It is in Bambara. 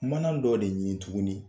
Mana dɔ de ɲini tuguni